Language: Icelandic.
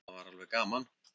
Það var alveg gaman.